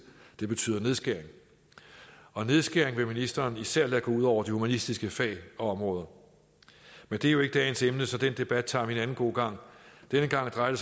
det betyder nedskæring nedskæring vil ministeren især lade gå ud over de humanistiske fag og områder men det er jo ikke dagens emne så den debat tager vi en anden god gang denne gang drejer det